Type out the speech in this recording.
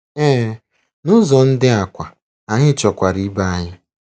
Ee, n'ụzọ ndị a kwa, anyị chọkwara ibe anyị.